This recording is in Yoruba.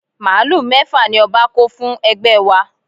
Màálù mẹ́fà ni ọba kó fún ẹgbẹ́ wa